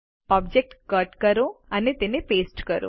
object કટકરો અને તેને પેસ્ટ કરો